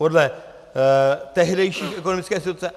Podle tehdejší ekonomické situace.